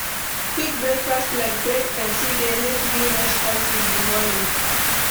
Quick breakfast like bread and tea dey help me rush out in the morning.